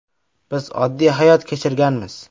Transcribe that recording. Biz oddiy hayot kechirganmiz.